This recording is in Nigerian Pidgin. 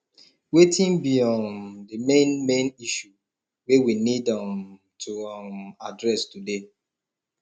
wetin be um the main main issue wey we need um to um address today